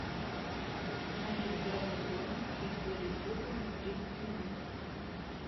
установи в игровой зоне чуть более теплым на тридцать минут